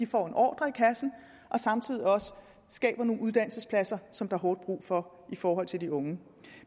får en ordre i kassen og samtidig også skaber nogle uddannelsespladser som der er hårdt brug for i forhold til de unge